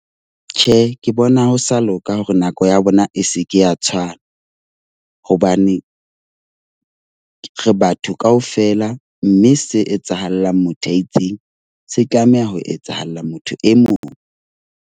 Tjhe, ke bona ho sa loka hore nako ya bona e se ke ya tshwana. Hobane re batho kaofela, mme se etsahalang motho a itseng se tlameha ho etsahalla motho e mong.